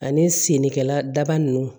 Ani sene kɛla daba nunnu